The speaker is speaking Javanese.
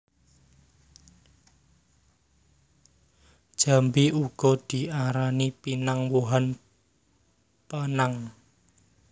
Jambé uga diarani pinang wohan penang